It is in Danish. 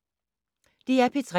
DR P3